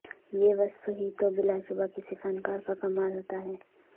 یہ وصف ہی تو بلاشبہ کسی فنکار کا کمال ھوتا ھے